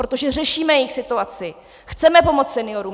Protože řešíme jejich situaci, chceme pomoci seniorům.